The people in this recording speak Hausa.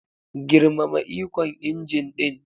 Girmama ikon injin din.